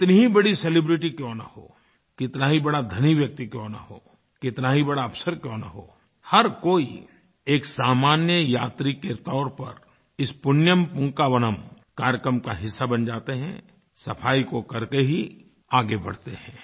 कितनी बड़ी सेलिब्रिटी क्यों न हो कितना ही धनी व्यक्ति क्यों न हो कितना ही बड़ा अफ़सर क्यों न हो हर कोई एक सामान्ययात्री के तौर पर इस पुण्यम पुन्कवाणम पुण्यम पूंकवनम कार्यक्रम का हिस्सा बन जाते हैं सफाई को करके ही आगे बढ़ते हैं